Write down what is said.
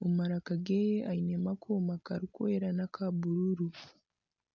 omu maraka ge ainemu akooma karikwera n'aka bururu.